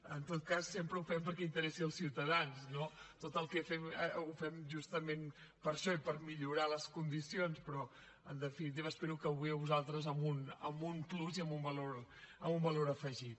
en tot cas sempre ho fem perquè interessi els ciutadans no tot el que fem ho fem justament per això i per millorar les condicions però en definitiva espero que avui a vosaltres amb un plus i amb un valor afegit